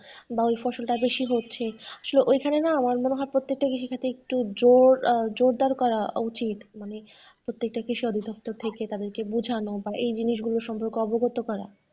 বা ঐ ফসল টা বেশি হচ্ছে আসলে ওই খানে না আমার মনে হয় প্রত্যেকটা কৃষিখাতে একটু জোর, জোরদার করা উচিত মানে প্রত্যেকটা কৃষি দপ্তর থেকে তাদেরকে বোঝানো এই জিনিসগুলো সম্পর্কে অবগত করা।